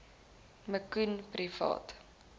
me koen privaat